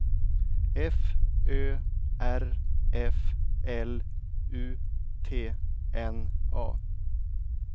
F Ö R F L U T N A